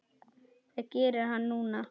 Hvað gerir hann núna?